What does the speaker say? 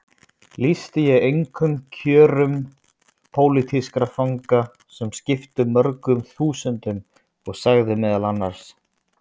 Lýsti ég einkum kjörum pólitískra fanga sem skiptu mörgum þúsundum og sagði meðal annars